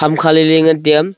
ham kha lai lai ley ngan tiya.